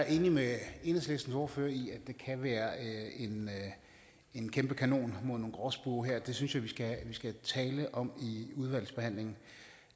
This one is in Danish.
enig med enhedslistens ordfører i at det kan være en kæmpe kanon mod nogle gråspurve her det synes jeg at vi skal tale om i udvalgsbehandlingen